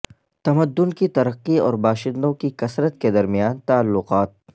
تمدن کی ترقی اور باشندوں کی کثرت کے درمیان تعلقات